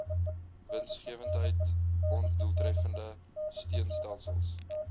winsgewendheid ondoeltreffende steunstelsels